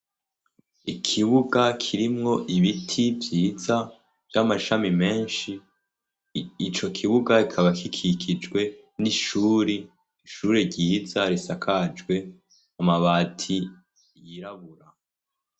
Ikibuga kirimwo ibiti vyiza vy'amashami menshi, ico kibuga kikaba gikikijwe n'ishure, ishure ryiza risakajwe amabati yirabura.